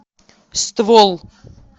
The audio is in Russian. ствол